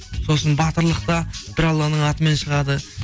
сосын батырлықта бір алланың атымен шығады